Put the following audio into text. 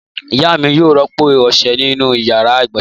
Ìyá mi yóò rọ́pò ọṣẹ inú ìyàrá-ìgbọ̀nsẹ̀.